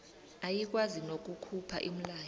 ayikwazi nokukhupha umlayo